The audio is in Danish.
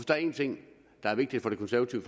der er en ting der er vigtig for det konservative